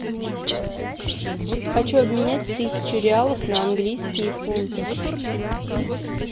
хочу обменять тысячу реалов на английские фунты